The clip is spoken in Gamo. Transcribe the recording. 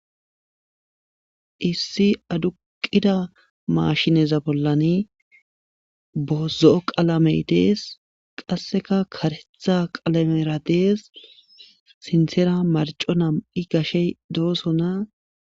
issi aduqida mashineza bollani bozo7o qalamey dees qasseka karetha qalamera dees sintsera marco nam7i gashe dooso na